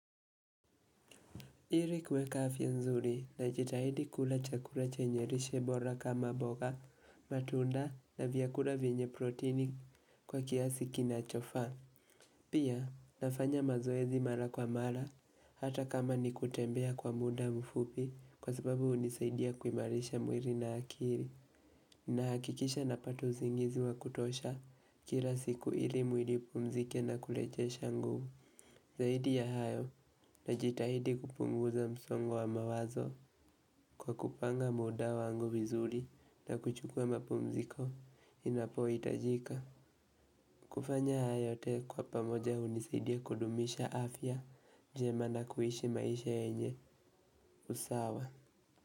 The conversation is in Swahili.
Ili kueka afya nzuri najitahidi kula chakula chenye lishe bora kama mboga, matunda na vyakula vyenye protini kwa kiasi kinachofaa. Pia, nafanya mazoezi mara kwa mara hata kama ni kutembea kwa muda mfupi kwa sababu hunisaidia kuimarisha mwili na akili. Nahakikisha napata usingizi wa kutosha kila siku ili mwili upumzike na kurejesha nguvu zaidi ya hayo najitahidi kupunguza msongo wa mawazo kwa kupanga muda wangu vizuri na kuchukua mapumziko inapohitajika. Kufanya haya yote kuwa pamoja hunisaidia kudumisha afya jema na kuishi maisha yenye usawa.